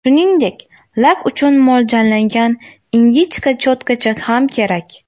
Shuningdek, lak uchun mo‘ljallangan ingichka cho‘tkacha ham kerak.